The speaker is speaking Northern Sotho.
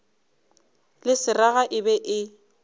le seraga e be e